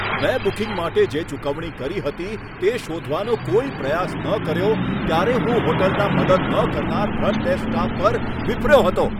મેં બુકિંગ માટે જે ચૂકવણી કરી હતી તે શોધવાનો કોઈ પ્રયાસ ન કર્યો ત્યારે હું હોટલના મદદ ન કરનાર ફ્રન્ટ ડેસ્ક સ્ટાફ પર વિફર્યો હતો.